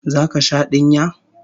Zaka sha dinya?